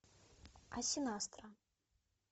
асинастра